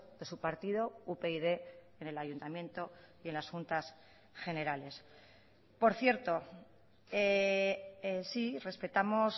de su partido upyd en el ayuntamiento y en las juntas generales por cierto sí respetamos